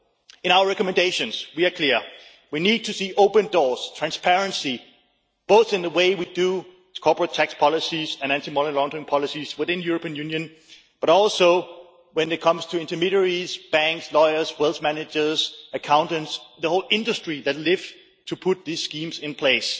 In our recommendations, we are clear that we need to see open doors and transparency, not only in the way we make corporate tax policies and anti money laundering policies within the European Union, but also when it comes to intermediaries, banks, lawyers, wealth managers, accountants, the whole industry that lives to put these schemes in place.